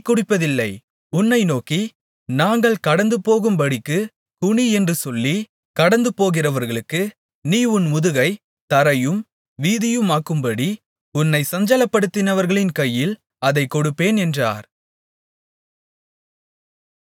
உன்னை நோக்கி நாங்கள் கடந்துபோகும்படிக்குக் குனியென்று சொல்லி கடந்துபோகிறவர்களுக்கு நீ உன் முதுகைத் தரையும் வீதியுமாக்கும்படி உன்னைச் சஞ்சலப்படுத்தினவர்களின் கையில் அதைக் கொடுப்பேன் என்றார்